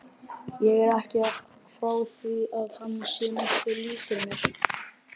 Ég er ekki frá því að hann sé nokkuð líkur mér.